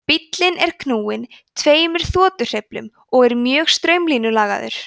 bíllinn er knúinn tveimur þotuhreyflum og er mjög straumlínulagaður